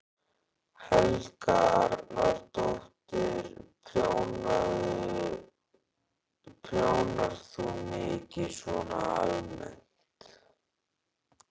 Helga Arnardóttir: Prjónar þú mikið svona almennt?